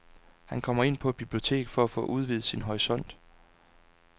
Han kommer ind på et bibliotek for at få udvidet sin horisont.